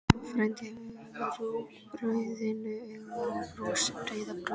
Frændi gefur rúgbrauðinu auga og brosir breiðu brosi.